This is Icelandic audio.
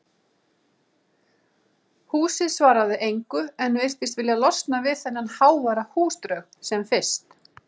Húsið svaraði engu en virtist vilja losna við þennan háværa húsdraug sem fyrst.